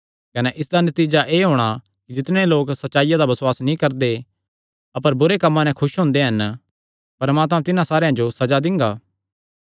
कने इसदा नतीजा एह़ होणा ऐ कि जितणे लोक सच्चाईया दा बसुआस नीं करदे अपर बुरे कम्मां नैं खुस हुंदे हन परमात्मा तिन्हां सारेयां जो सज़ा दिंगा